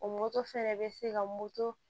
O moto fɛnɛ bɛ se ka moto